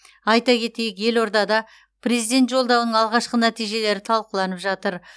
айта кетейік елордада президент жолдауының алғашқы нәтижелері талқыланып жатыр